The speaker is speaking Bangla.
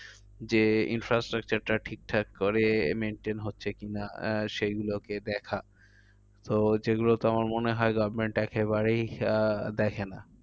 যে infrastructure টা ঠিকঠাক করে maintain হচ্ছে কি না? আহ সেগুলোকে দেখার। তো যেগুলোতে আমার মনে হয় government একেবারেই আহ দেখে না।